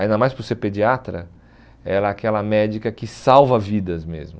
Ainda mais por ser pediatra, ela é aquela médica que salva vidas mesmo.